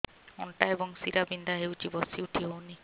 ଅଣ୍ଟା ଏବଂ ଶୀରା ବିନ୍ଧା ହେଉଛି ବସି ଉଠି ହଉନି